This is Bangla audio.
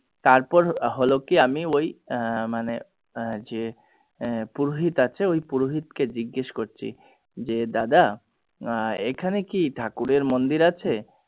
তার পর হলো কি আমি ওই আহ মানে আহ যে পুরোহিত আছে ওই পুরোহিত কে জিজ্ঞাসা করছি যে দাদা আহ এখানে কি ঠাকুরের মন্দির আছে?